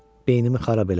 Beynimi xarab eləmə.